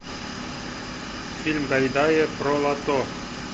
фильм гайдая про лото